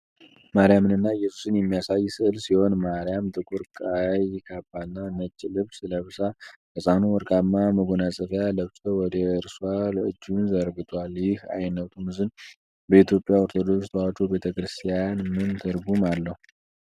ማርያምንና ኢየሱስን የሚያሳይ ሥዕል ሲሆን፣ ማርያም ጥቁር ቀይ ካባና ነጭ ልብስ ለብሳ፣ ሕፃኑ ወርቃማ መጎናጸፊያ ለብሶ ወደ እርሷ እጁን ዘርግቷል። ይህ ዓይነቱ ምስል በኢትዮጵያ ኦርቶዶክስ ተዋሕዶ ቤተ ክርስቲያን ምን ትርጉም አለው?